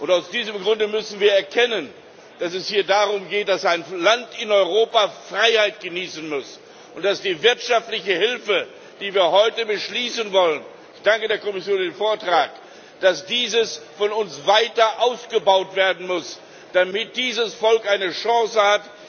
Aus diesem Grund müssen wir erkennen, dass es hier darum geht, dass ein Land in Europa Freiheit genießen muss und dass die wirtschaftliche Hilfe, die wir heute beschließen wollen ich danke der Kommission für den Vortrag von uns weiter aufgebaut werden muss, damit dieses Volk eine Chance hat.